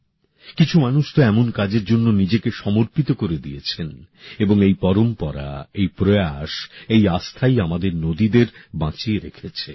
কিছু মানুষ তো এমন কাজের জন্য নিজেকে সমর্পিত করে দিয়েছেন এবং এই পরম্পরা এই প্রয়াস এই আস্থাই আমাদের নদীদের বাঁচিয়ে রেখেছে